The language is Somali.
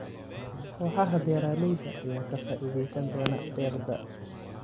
Kooxaha beeralayda ayaa ka faa'iidaysan doona deeqda.